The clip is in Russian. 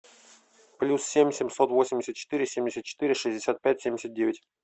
плюс семь семьсот восемьдесят четыре семьдесят четыре шестьдесят пять семьдесят девять